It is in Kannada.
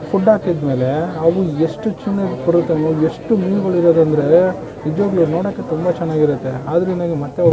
ಫುಡ್ ಹಾಕುದ್ಮೇಲೆ ಅವು ಎಷ್ಟು ಚೆನ್ನಾಗ್ ಬರುತ್ತೆ ಎಷ್ಟು ಮೀನುಗಳು ಇರೋದ್ ಅಂದ್ರೆ ನಿಜವಾಗಲೂ ನೋಡೋಕ್ ತುಂಬಾ ಚೆನ್ನಾಗಿರುತ್ತೆ ಆದರೆ ನನಗೆ ಮತ್ತೆ ಹೋಗಾಕ್ --